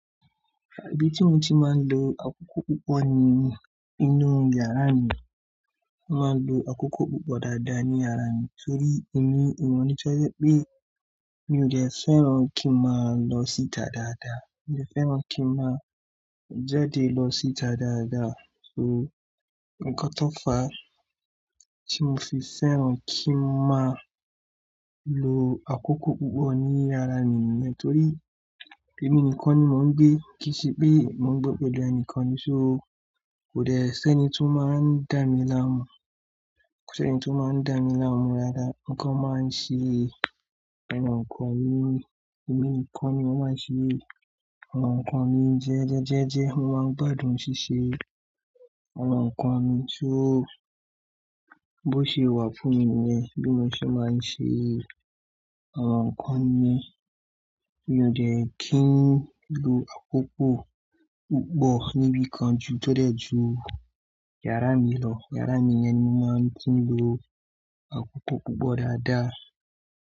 Bí tí mo ti máa ń lo akoko púpọ̀ ni inú yàrá mi, máa ń lo akoko púpọ̀ dáadáa ní yàrá mi torí èmi, èmi mọ̀ ní tje wipé mí ò jẹ́ fẹ́ràn kí n máa lọ síta dáadáa. Mo dẹ́ fẹ́ràn kí n máa jáde lọ síta dáadáa. So, ǹnkan tó fà á tí mo fi fẹ́ràn kí n máa lo àkókò púpọ̀ ní yàrá mi nìyẹn. Torí èmi nìkan ni mò ń gbé, kì í ṣe pé mò ń gbé pẹ̀lú ẹnìkan ni. So kò dẹ́ ṣi ẹ́ni tó máa ń dà mí láàmú, kò ṣi ẹ́ni tó máa ń dà mí láàmú rara. Mo kan máa ń ṣe àwọn nǹkan mi, èmi nìkan ni mo màá n ṣe àwọn nǹkan mi. Jẹ́jẹ́jẹ́je, mo máa ń gbádùn ṣíṣe àwọn nǹkan mi tó bó ṣe wà fún mi nìyẹn, bí mo ṣe máa ń ṣe àwọn nǹkan mi. Mi ò dẹ́ kí ń lo àkókò púpọ̀ níbí kan ju tódẹ̀ ju yàrá mi lọ. Yàrá mi yẹn ni mo máa ń túń lo àkókò púpọ̀ dáadáa.